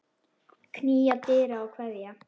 Knýja dyra og kveðja.